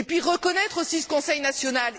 Il faut reconnaître aussi le conseil national.